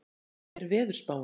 Daley, hvernig er veðurspáin?